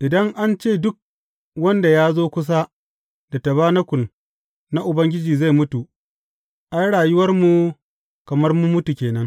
Idan an ce duk wanda ya zo kusa da tabanakul na Ubangiji zai mutu, ai rayuwarmu kamar mun mutu ke nan.